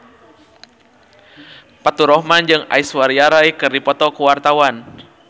Faturrahman jeung Aishwarya Rai keur dipoto ku wartawan